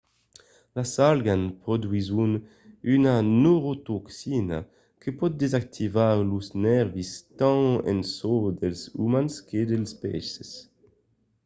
las algas produsisson una neurotoxina que pòt desactivar los nèrvis tant en çò dels umans que dels peisses